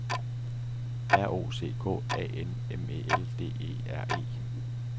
R O C K A N M E L D E R E